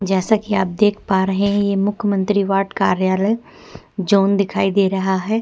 जैसे कि आप देख पा रहै हैं मुख्यमंत्री वार्ड कार्यालय जोन दिखाई दे रहा है।